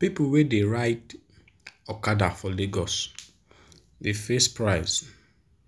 people wey dey ride okada for lagos dey face price